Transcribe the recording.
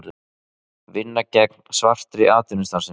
Vinna gegn svartri atvinnustarfsemi